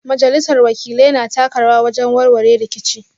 Majalisar Wakilai na taka rawa wajen warware rikici